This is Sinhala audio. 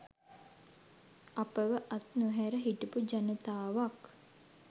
අපව අත් නොහැර හිටපු ජනාතවක්